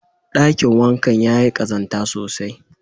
Ɗakin wankan yayi ƙazanta sosai.